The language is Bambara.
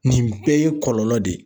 Nin bɛɛ ye kɔlɔlɔ de ye.